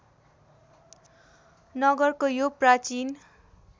नगरको यो प्राचीन